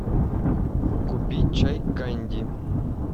купи чай канди